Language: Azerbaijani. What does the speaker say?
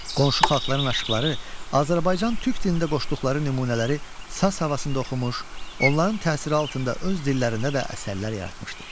Qonşu xalqların aşıqları Azərbaycan türk dilində qoşduqları nümunələri saz havasında oxumuş, onların təsiri altında öz dillərində də əsərlər yaratmışdır.